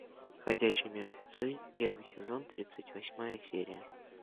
ходячие мертвецы первый сезон тридцать восьмая серия